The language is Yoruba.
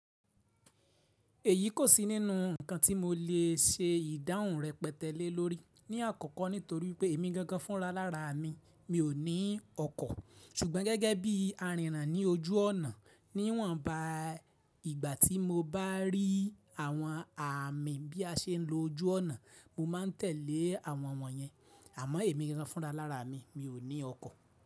Èyí kò sí nínú ǹkan tí mo lè ṣe ìdáhùn rẹpẹtẹ́lẹ̀ lórí. Ni àkọ́kọ́ nítorí pé èmi gangan fúnra lára à mi, mi ò ní ọkọ̀. Ṣùgbọ́n gẹ́gẹ́ bí arìnràn ní ojú ọ̀nà, níwọ̀nba ìgbà tí mo bá rí àwọn àmì bí a ṣe ń lo ojú ọ̀nà mo máa tẹ̀lé àwọn wọ̀nyẹn. Àmọ́ èmi gangan fúnra lára à mi, mi ò ní ọkọ̀.